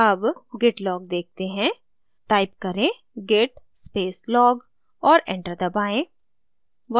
अब git log देखते हैं टाइप करें git space log और enter दबाएँ